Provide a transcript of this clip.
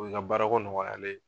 O ye nka baarako nɔgɔyalen ye.